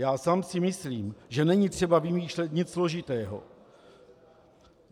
Já sám si myslím, že není třeba vymýšlet nic složitého.